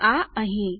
આ અહીં